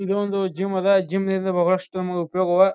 ಇದೊಂದು ಜಿಮ್ ಅದಾ ಜಿಮ್ ಇಂದ ಬಹಳಷ್ಟು ನಮಗೆ ಉಪಯೋಗ ಇದೆ.